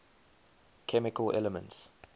chemical elements